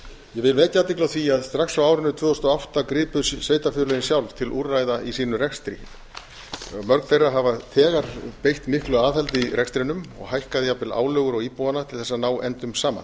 vil vekja athygli á því að strax á árinu tvö þúsund og átta gripu sveitarfélögin sjálf til úrræða í sínum rekstri mörg þeirra hafa þegar beitt miklu aðhaldi í rekstrinum og hækkað jafnvel álögur á íbúana til þess að ná endum